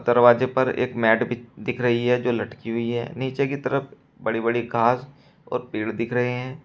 दरवाजे पर एक मैट भी दिख रही है जो लटकी हुई है नीचे की तरफ बड़ी बड़ी घास और पेड़ दिख रहे हैं।